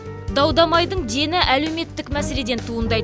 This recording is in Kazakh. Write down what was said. дау дамайдың дені әлеуметтік мәселеден туындайды